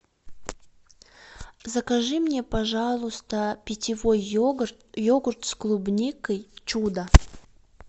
закажи мне пожалуйста питьевой йогурт с клубникой чудо